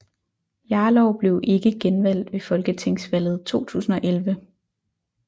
Jarlov blev ikke genvalgt ved Folketingsvalget 2011